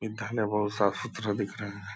ई साफ सुथरा दिख रहा है ।